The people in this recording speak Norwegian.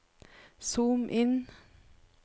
zoom inn